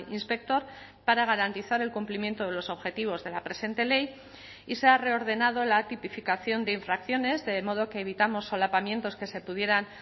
inspector para garantizar el cumplimiento de los objetivos de la presente ley y se ha reordenado la tipificación de infracciones de modo que evitamos solapamientos que se pudieran